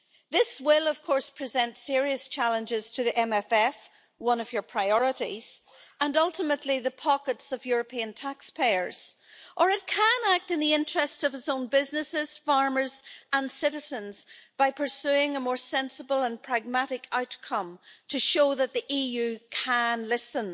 This will of course present serious challenges to the MFF, which is one of your priorities, and ultimately the pockets of European taxpayers. Or it can act in the interests of its own businesses, farmers and citizens by pursuing a more sensible and pragmatic outcome to show that the EU can listen.